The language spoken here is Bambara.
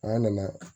An nana